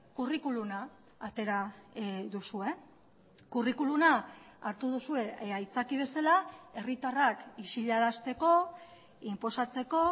curriculuma atera duzue curriculuma hartu duzue aitzaki bezala herritarrak isilarazteko inposatzeko